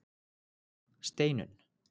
Steinunn